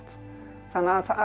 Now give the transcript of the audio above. þannig að